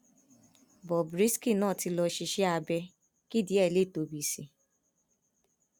bob risky náà ti lọọ ṣiṣẹ abẹ kí ìdí ẹ lè tóbi sí i